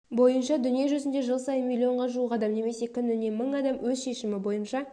бойынша дүние жүзінде жыл сайын миллионға жуық адам немесе күніне мың адам өз шешімі бойынша